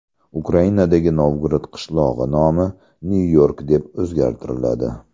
Ukrainadagi Novgorod qishlog‘i nomi Nyu-York deb o‘zgartiriladi.